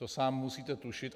To sám musíte tušit.